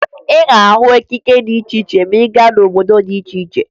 Ị ga-ahụ ekike dị iche iche ma ị gaa n'obodo dị iche iche